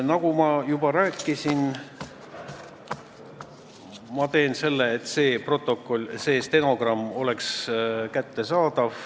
Nagu ma juba rääkisin, ma teen kõik selleks, et see stenogramm oleks kättesaadav.